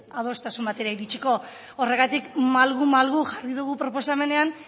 adostasun batera iritsiko horregatik malgu malgu jarri dugu proposamenean